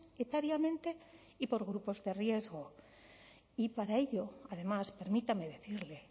etariamente y por grupos de riesgo y para ello además permítame decirle